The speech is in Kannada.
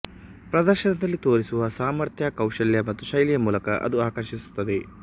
ಪ್ರದರ್ಶನದಲ್ಲಿ ತೋರಿಸುವ ಸಾಮರ್ಥ್ಯ ಕೌಶಲ್ಯ ಮತ್ತು ಶೈಲಿಯ ಮೂಲಕ ಅದು ಆಕರ್ಷಿಸುತ್ತದೆ